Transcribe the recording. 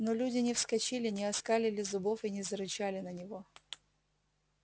но люди не вскочили не оскалили зубов и не зарычали на него